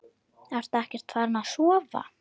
Ertu ekkert farin að sofa!